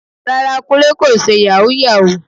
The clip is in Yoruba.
Rárá, Kúnlé kò ṣe Yàhooyahoo